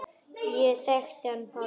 Ég þekkti hann Pálma.